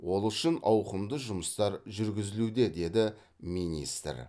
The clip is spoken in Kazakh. ол үшін ауқымды жұмыстар жүргізілуде деді министр